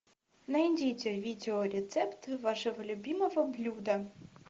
найдите видео рецепт вашего любимого блюда